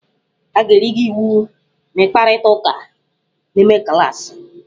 A ga-eri gi iwu ma ịkparịta ụka n'ime klaasị?